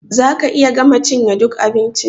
Za ka iya gama cinye ɗuk abincin?